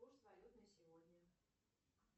курс валют на сегодня